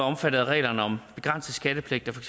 omfattet af reglerne om begrænset skattepligt af for